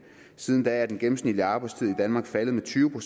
siden da er den gennemsnitlige arbejdstid i danmark faldet med tyve